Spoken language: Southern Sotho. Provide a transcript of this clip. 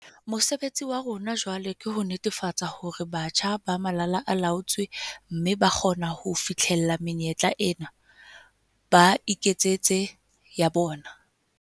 Mosebetsi wa rona jwale ke ho netefatsa hore batjha ba malala a laotswe mme ba kgona ho fihlella menyetla ena, ba iketsetse ya bona.